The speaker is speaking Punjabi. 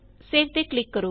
ਸੇਵ ਤੇ ਕਲਿਕ ਕਰੋ